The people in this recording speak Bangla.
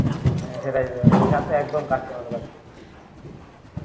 সেটাই দিঘা তে একদম কাছে আমাদের বাড়িতে